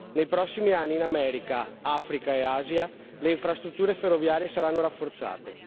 Nei prossimi anni, in America, Africa e Asia le infrastrutture ferroviarie saranno rafforzate.